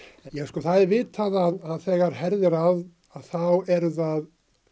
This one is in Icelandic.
það er vitað að þegar herðir að þá eru það